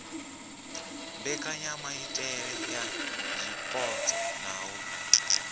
mbekanyamaitele ya zwipotso na u